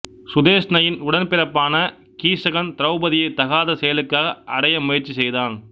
சுதேஷ்ணையின் உடன்பிறப்பான கீசகன் திரௌபதியை தகாத செயலுக்காக அடைய முயற்சி செய்தான்